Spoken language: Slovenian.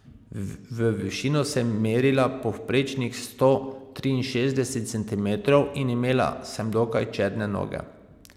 V višino sem merila povprečnih sto triinšestdeset centimetrov in imela sem dokaj čedne noge.